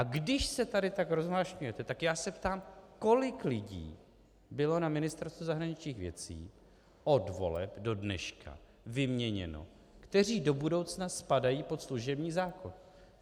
A když se tady tak rozvášňujete, tak já se ptám, kolik lidí bylo na Ministerstvu zahraničních věcí od voleb do dneška vyměněno, kteří do budoucna spadají pod služební zákon.